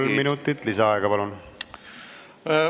Kolm minutit lisaaega, palun!